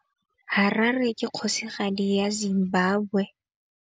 Harare ke kgosigadi ya Zimbabwe.